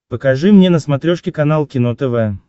покажи мне на смотрешке канал кино тв